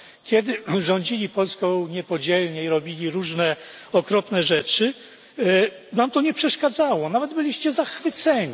Kiedy rządzili Polską niepodzielnie i robili różne okropne rzeczy, wam to nie przeszkadzało, nawet byliście zachwyceni.